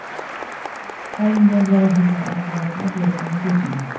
olingan jarohatlar oqibatida hayotdan ko‘z yumdi.